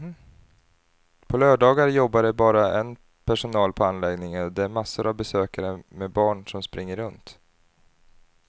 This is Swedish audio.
På lördagar jobbar det bara en personal på anläggningen och det är massor av besökare med barn som springer runt.